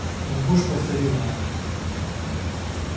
мой муж повторила она